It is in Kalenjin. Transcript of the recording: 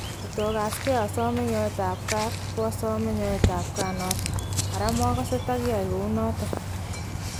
Kotakaskei asome nyoetab kaat , ko asame nyoetab kaat noton , ara makasee takyai kou noton.